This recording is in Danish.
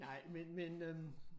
Nej men men øh